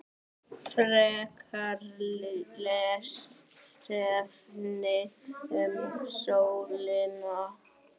Frekara lesefni um sólina